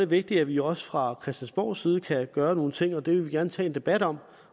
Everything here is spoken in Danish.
vigtigt at vi også fra christiansborgs side kan gøre nogle ting og det vil vi gerne tage en debat om